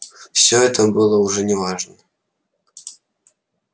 всё это было уже не важно